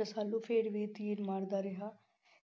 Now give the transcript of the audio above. ਰਸਾਲੂ ਫਿਰ ਵੀ ਤੀਰ ਮਾਰਦਾ ਰਿਹਾ,